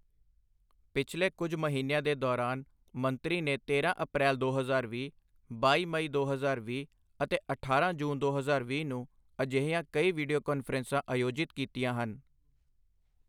ਪਿਛਲੇ ਕੁੱਝ ਮਹੀਨਿਆਂ ਦੇ ਦੌਰਾਨ, ਮੰਤਰੀ ਨੇ ਤੇਰਾਂ ਅਪ੍ਰੈਲ ਦੋ ਹਜ਼ਾਰ ਵੀਹ, ਬਾਈ ਮਈ ਦੋ ਹਜ਼ਾਰ ਵੀਹ ਅਤੇ ਅਠਾਰਾਂ ਜੂਨ ਦੋ ਹਜ਼ਾਰ ਵੀਹ ਨੂੰ ਅਜਿਹੀਆਂ ਕਈ ਵੀਡੀਓ ਕਾਨਫ਼ਰੰਸਾਂ ਅਯੋਜਿਤ ਕੀਤੀਆਂ ਹਨ।